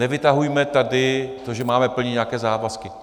Nevytahujme tady to, že máme plnit nějaké závazky.